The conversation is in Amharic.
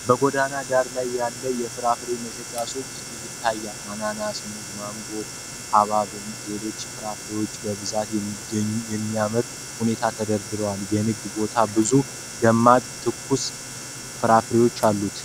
በጎዳና ዳር ያለ የፍራፍሬ መሸጫ ሱቅ ያሳያል። አናናስ፣ ሙዝ፣ ማንጎ፣ ሀብሐብና ሌሎች ፍራፍሬዎች በብዛትና በሚያምር ሁኔታ ተደርድረዋል። የንግድ ቦታው ብዙ ደማቅና ትኩስ ፍራፍሬዎች አሉት።